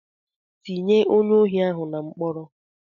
Ti ye onye ohi ahu na mkpọrọ!